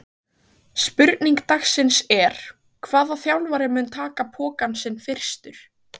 Spurning dagsins er: Hvaða þjálfari mun taka pokann sinn fyrstur?